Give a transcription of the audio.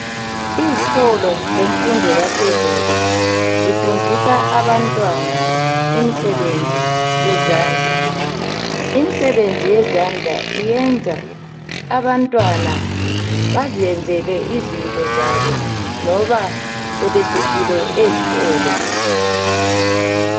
Izikolo zemfundo yaphezulu zifundisa abantwana imisebenzi yezandla imisebenzi yezandla iyenza abantwana bazenzele izinto zabo noba sebesukile ezikolo